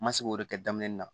N ma se k'o de kɛ daminɛ na